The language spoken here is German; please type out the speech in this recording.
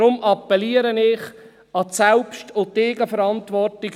Deshalb appelliere ich an die Selbst- und Eigenverantwortung.